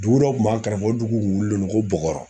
Dugu dɔ kun b'an kɛrɛfɛ o duguw k'un wililendon ko bɔkɔrɔ